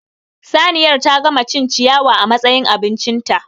Saniyar ta gama cin ciyawa a matsayin abincinta